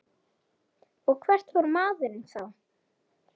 Og hvert fór maður þá?